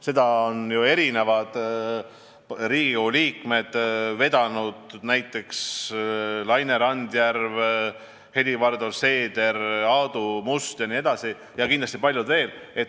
Seda on ju mitmed Riigikogu liikmed vedanud, näiteks Laine Randjärv, Helir-Valdor Seeder, Aadu Must ja kindlasti paljud veel.